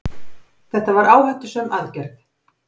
Þetta var áhættusöm aðgerð.